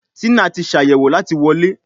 Tina tí Ṣàyẹ̀wò láti wọlé.